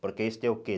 Porque isso tem o quê?